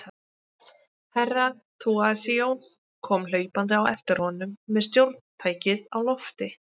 Herra Toahizo kom hlaupandi á eftir honum með stjórntækið á lofti.